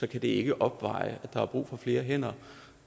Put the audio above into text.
det ikke opveje at der er brug for flere hænder